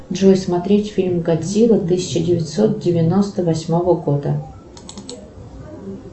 джой смотреть фильм годзилла тысяча девятьсот девяносто восьмого года